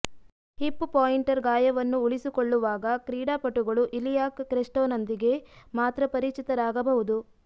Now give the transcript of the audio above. hip pointer ಗಾಯವನ್ನು ಉಳಿಸಿಕೊಳ್ಳುವಾಗ ಕ್ರೀಡಾಪಟುಗಳು ಇಲಿಯಾಕ್ ಕ್ರೆಸ್ಟ್ನೊಂದಿಗೆ ಮಾತ್ರ ಪರಿಚಿತರಾಗಬಹುದು